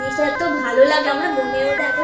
জিনিসটা এতো ভালো লাগে আমার মনের মধ্যে